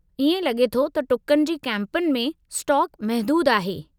इएं लॻे थो त टुकनि जी कैंपुनि में स्टॉक महदूदु आहे।